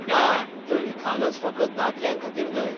ना, त्यो निखालस फकत दादल्यांखातीर न्हय.